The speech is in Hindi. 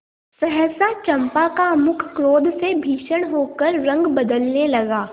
सहसा चंपा का मुख क्रोध से भीषण होकर रंग बदलने लगा